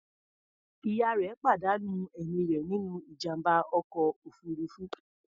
Ìyá rẹ̀ pàdánù ẹ̀mí rẹ̀ nínú ìjàm̀bá ọkọ̀ òfuruufú.